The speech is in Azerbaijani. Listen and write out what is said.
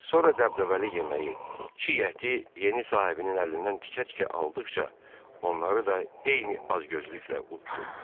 Sonra dəbdəbəli yeməyi, çiy əti yeni sahibinin əlindən tikə-tikə aldıqca, onları da eyni acgözlüklə uddu.